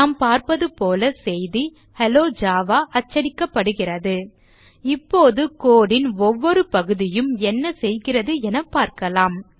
நாம் பார்ப்பது போல செய்தி ஹெல்லோ ஜாவா அச்சடிக்கப்படுகிறது இப்போது code ன் ஒவ்வொரு பகுதியும் என்ன செய்கிறது என பார்க்கலாம்